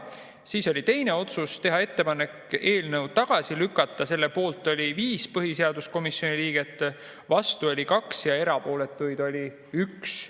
Siis oli teine otsus: teha ettepanek eelnõu tagasi lükata, selle poolt oli 5 põhiseaduskomisjoni liiget, vastu oli 2 ja erapooletuid oli 1.